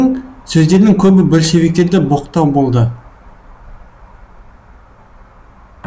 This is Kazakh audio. сөздерінің көбі большевиктерді боқтау болды